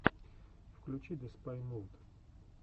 включи деспай мувд